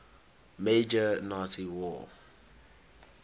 major nazi war